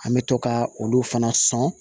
An bɛ to ka olu fana sɔn